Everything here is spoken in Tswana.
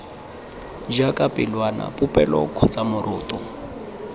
jaaka pelwana popelo kgotsa moroto